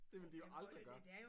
Det ville de jo aldrig gøre